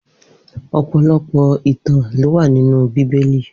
Opọlọpọ itàn ló wà ninú Bibéli